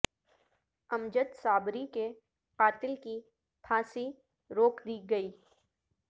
امجد صابری کے قاتل کی پھانسی روک دی گئی